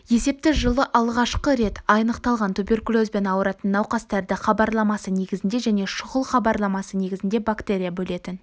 есепті жылы алғашқы рет анықталған туберкулезбен ауыратын науқастарды хабарламасы негізінде және шұғыл хабарламасы негізінде бактерия бөлетін